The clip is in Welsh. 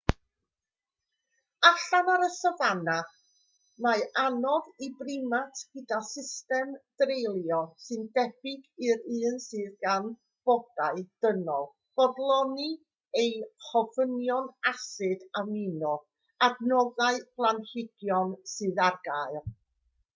allan ar y safana mae'n anodd i brimat gyda system dreulio sy'n debyg i'r un sydd gan bodau dynol fodloni ei ofynion asid amino o adnoddau planhigion sydd ar gael